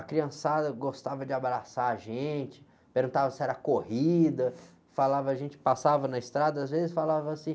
A criançada gostava de abraçar a gente, perguntava se era corrida, falava, a gente passava na estrada, às vezes falava assim...